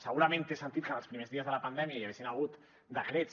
segurament té sentit que en els primers dies de la pandèmia hi haguessin hagut decrets